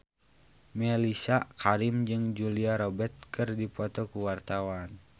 Mellisa Karim jeung Julia Robert keur dipoto ku wartawan